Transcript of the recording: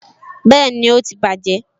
Bẹẹni, ó ti bàjé